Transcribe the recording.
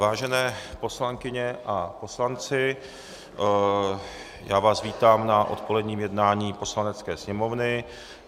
Vážené poslankyně a poslanci, já vás vítám na odpoledním jednání Poslanecké sněmovny.